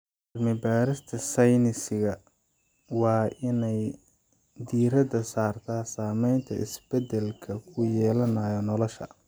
Cilmi-baarista sayniska waa in ay diiradda saartaa saameynta isbedelka ku yeelanayo noolaha.